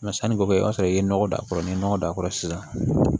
sanniko kɛ i b'a sɔrɔ i ye nɔgɔ don a kɔrɔ ni ye nɔgɔ don a kɔrɔ sisan